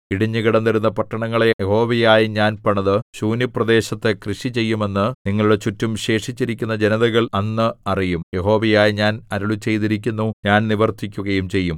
ഇടിഞ്ഞുകിടന്നിരുന്ന പട്ടണങ്ങളെ യഹോവയായ ഞാൻ പണിത് ശൂന്യപ്രദേശത്ത് കൃഷി ചെയ്യുമെന്ന് നിങ്ങളുടെ ചുറ്റും ശേഷിച്ചിരിക്കുന്ന ജനതകൾ അന്ന് അറിയും യഹോവയായ ഞാൻ അരുളിച്ചെയ്തിരിക്കുന്നു ഞാൻ നിവർത്തിക്കുകയും ചെയ്യും